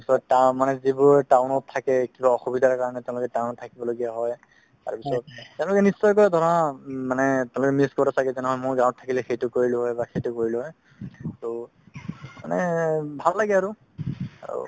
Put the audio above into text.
মানে যিবোৰ town থাকে কিবা অসুবিধাৰ কাৰণে তেওলোকে town ত থাকিব লগিয়া হয় তেওলোকে নিশ্চয়কে ধৰা উম মানে তেওলোকে miss কৰে চাগে তেনেহলে মইও গাওঁত থাকিলে সেইটো কৰিলো হয় বা সেইটো কৰিলো হয় ট মানে ভাল লাগে আৰু, আৰু